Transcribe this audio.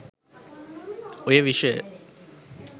ඔය විෂය